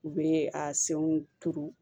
U bɛ a senw turu